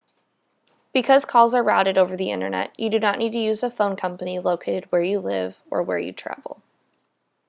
because calls are routed over the internet you do not need to use a phone company located where you live or where you travel